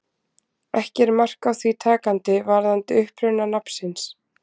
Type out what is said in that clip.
Ekki er mark á því takandi varðandi uppruna nafnsins.